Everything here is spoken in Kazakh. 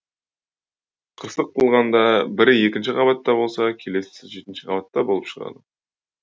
қырсық қылғанда бірі екінші қабатта болса келесісі жетінші қабатта болып шығады